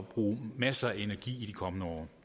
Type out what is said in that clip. bruge masser af energi i de kommende år